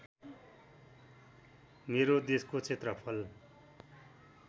मेरो देशको क्षेत्रफल